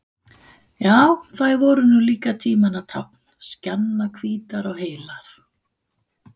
Já, þær voru nú líka tímanna tákn, skjannahvítar og heilar.